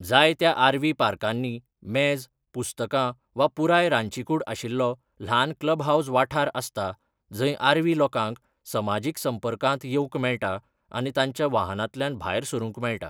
जायत्या आरव्ही पार्कांनी मेज, पुस्तकां वा पुराय रांदचीकूड आशिल्लो ल्हान क्लबहाउस वाठार आसता जंय आरव्ही लोकांक समाजीक संपर्कांत येवंक मेळटा आनी तांच्या वाहनांतल्यान भायर सरूंक मेळटा.